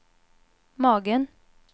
magen